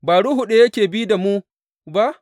Ba ruhu ɗaya yake bi da mu ba?